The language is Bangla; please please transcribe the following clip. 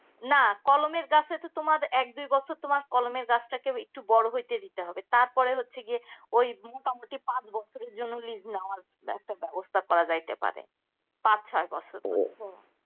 না কলমের গাছটাকে তোমার একদুই বর তোমার গাছটাকে একটু বড় হইতে দিতে হবে তারপরে হচ্ছে গিয়ে ওই পাঁচ বছরের জন্য লিজ নেওয়া ব্যবস্থা করা যাইতে পারে পাঁচ ছয় বছরের মধ্যে